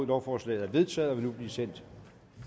lovforslaget er vedtaget og vil nu blive sendt